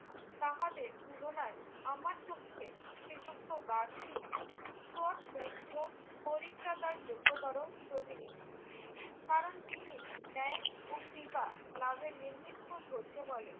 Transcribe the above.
তাহাদের তুলনায় আমার চক্ষে শ্রীযুক্ত গান্ধী ক্রুশবিদ্ধ পরিত্রাতারও যোগ্যতর প্রতিনিধি। কারণ তিনি ন্যায় ও কৃপা লাভের নিমিত্ত ধৈর্য বলে